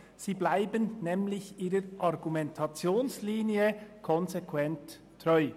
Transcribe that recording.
Sie bleiben nämlich ihrer Argumentationslinie konsequent treu.